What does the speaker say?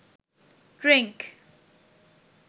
drink